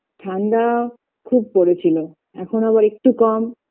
ঠান্ডা খুব পরেছিল এখন আবার একটু কম